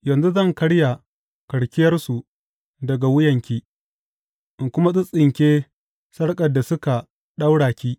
Yanzu zan karya karkiyarsu daga wuyanki in kuma tsittsinke sarƙar da suka ɗaura ki.